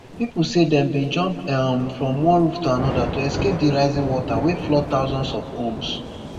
pipo say dem bin jump um from one roof to anoda to escape di rising water wey flood thousands of homes